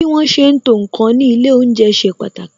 Bí wọn ṣe ń to ǹkan ní ilé olounje ṣe pàtàkì